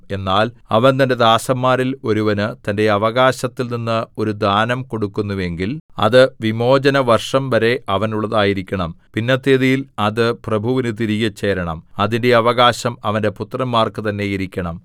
എന്നാൽ അവൻ തന്റെ ദാസന്മാരിൽ ഒരുവന് തന്റെ അവകാശത്തിൽനിന്ന് ഒരു ദാനം കൊടുക്കുന്നുവെങ്കിൽ അത് വിമോചനവർഷം വരെ അവനുള്ളതായിരിക്കണം പിന്നത്തേതിൽ അത് പ്രഭുവിനു തിരികെ ചേരേണം അതിന്റെ അവകാശം അവന്റെ പുത്രന്മാർക്കു തന്നെ ഇരിക്കണം